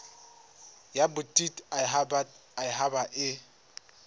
ya bodit habat haba e